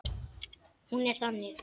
Hún er þannig